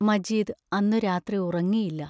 മജീദ് അന്നു രാത്രി ഉറങ്ങിയില്ല.